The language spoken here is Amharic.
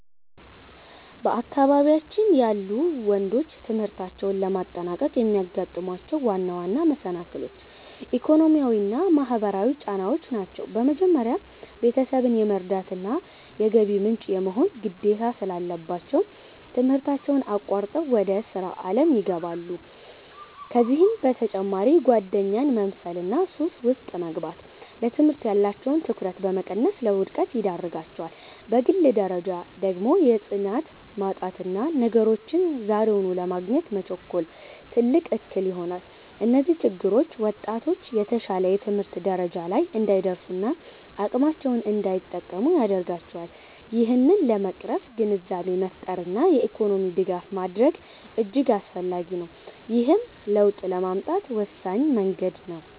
በአካባቢያችን ያሉ ወንዶች ትምህርታቸውን ለማጠናቀቅ የሚያጋጥሟቸው ዋና ዋና መሰናክሎች፣ ኢኮኖሚያዊና ማህበራዊ ጫናዎች ናቸው። በመጀመሪያ፣ ቤተሰብን የመርዳትና የገቢ ምንጭ የመሆን ግዴታ ስላለባቸው፣ ትምህርታቸውን አቋርጠው ወደ ሥራ ዓለም ይገባሉ። ከዚህም በተጨማሪ ጓደኛን መምሰልና ሱስ ውስጥ መግባት፣ ለትምህርት ያላቸውን ትኩረት በመቀነስ ለውድቀት ይዳርጋቸዋል። በግል ደረጃ ደግሞ የጽናት ማጣትና ነገሮችን ዛሬውኑ ለማግኘት መቸኮል፣ ትልቅ እክል ይሆናል። እነዚህ ችግሮች ወጣቶች የተሻለ የትምህርት ደረጃ ላይ እንዳይደርሱና አቅማቸውን እንዳይጠቀሙ ያደርጋቸዋል። ይህንን ለመቅረፍ ግንዛቤን መፍጠርና የኢኮኖሚ ድጋፍ ማድረግ እጅግ አስፈላጊ ነው፤ ይህም ለውጥ ለማምጣት ወሳኝ መንገድ ነው።